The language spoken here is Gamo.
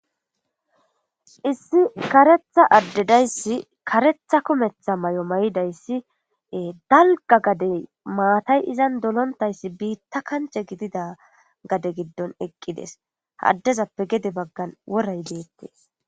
issi karetha addedayssi karetha kumetha may7o may7idayssi dalga gadey maatay izan dolontayssi biitta kanche gidida gade giddon eqqides haddezappe gede baggan woray deettees